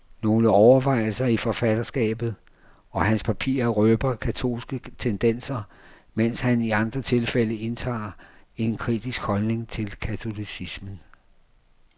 Nogle overvejelser i forfatterskabet, og hans papirer røber katolske tendenser, medens han i andre tilfælde indtager en kritisk holdning til katolicismen.